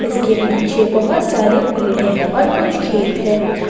इसके पीछे बहोत सारे पेड़ है और कुछ खेत है।